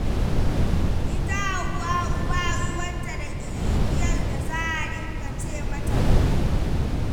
Ita Hawwa'u ba ruwanta da kirniyar da za a dinga ce mata bari.